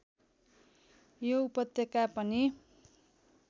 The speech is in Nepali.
यो उपत्यका पनि